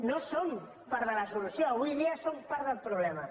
no som part de la solució avui dia som part del problema